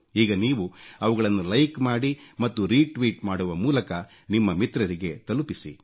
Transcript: ಈಗ ನೀವು ಅವುಗಳನ್ನು ಲೈಕ್ ಮಾಡಿ ಮತ್ತು ರೀ ಟ್ವೀಟ್ ಮಾಡುವ ಮೂಲಕ ನಿಮ್ಮ ಮಿತ್ರರಿಗೆ ತಲುಪಿಸಿ